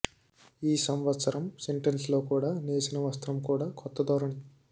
ఈ సంవత్సరం సెంటల్స్లో కూడా నేసిన వస్త్రం కూడా కొత్త ధోరణి